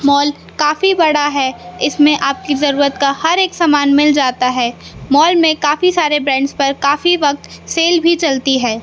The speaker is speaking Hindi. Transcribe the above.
मॉल काफी बड़ा है इसमें आपकी जरूरत का हर एक सामान मिल जाता है मॉल में काफी सारे ब्रांड्स पर काफी वक्त सेल भी चलती है।